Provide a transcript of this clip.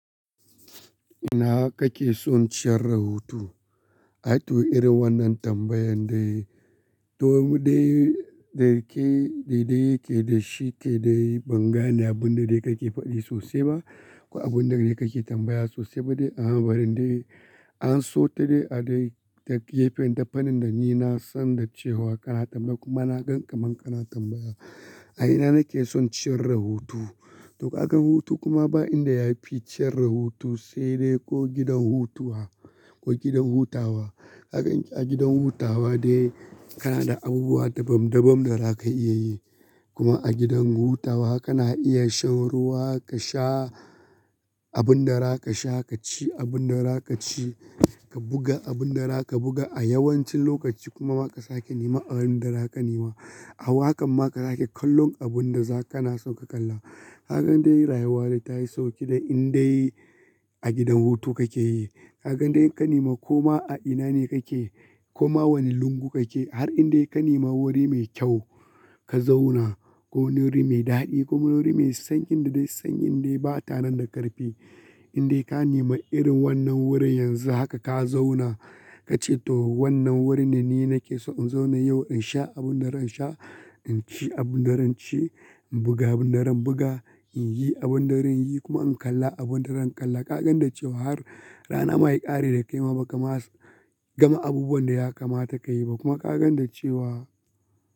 Ina kake son ciyar da hutu? Ai to irin wannan tambayan dai, to mu dai daya ke daidai ke da shi ke dai ban gane abin da dai kake faɗi sosai ba. Ko abin da dai kake tambaya sosai ba ne. Amma bari in dai an so ta dai a dai ta gefen da fanin da ni na san da cewa kana tambaya kuma na gan ka man kana tambaya. A ina nake son ciyar da hutu? To ka gan hutu kuma ba in da yafi ciyar da hutu sai dai ko gidan hutuwa ko gidan hutawa. Ka gan a gidan hutawa dai kana da abubuwa daban-daban da zaka iya yi kuma a gidan hutawa kana iya shan ruwa ka sha abun da za ka sha, ka ci abun da za ka ci, ka buga abun da za ka buga a yawancin lokaci kuma ma ka sake nema abun da za ka nema. A wa kan ma ka sake kallon abun da za kana son ka kalla. Haka dai rayuwa dai ta yi sauki dai in dai a gidan hutu kake yi. Kagan dai in ka nema koma a ina ne kake, koma wani lungu kake har in dai ka nema wuri mai kyau ka zauna. Ko wani wuri mai daɗi ko wani wuri mai sanyi da dai sanyi dai ba tanan da ƙarfi. In dai ka nema irin wannan wurin yanzu haka ka zauna, ka ce to wannan wurin ne ni nake so in zauna yau in sha abun da zan sha, in ci abun da zan ci, in buga abun da zan buga, in yi abun da zan yi kuma in kalla abun da zan kalla. Kagan da cewa har rana maya ƙare da kai ma baka ma gama abubuwan da ya kamata kayi ba kuma kagan da cewa.